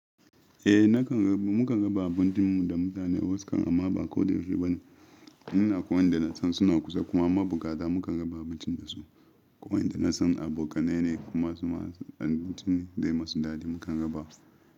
Eh nakan raba, mukan raba abincin mu da mutane wasu kam amma ba koyaushe ba ne. In akwai wanda na san suna kusa kuma abukata mukan raba abinci da su. Wayanda na san abokanai ne kuma abincin dai masu daɗi mukan raba.